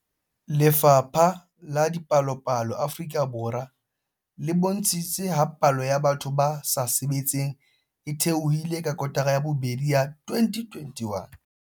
Lefapha la Dipalopalo Afrika Borwa le bontshitse ha palo ya batho ba sa sebetseng e theohile ka kotara ya bobedi ya 2021.